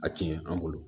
A tiɲɛ an bolo